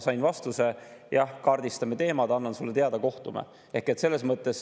Sain vastuse: "Jah, kaardistame teemad, annan sulle teada, kohtume.